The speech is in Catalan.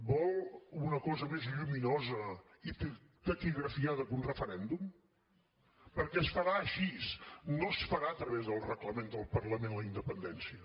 vol una cosa més lluminosa i taquigrafiada que un referèndum perquè es farà així no es farà a través del reglament del parlament la independència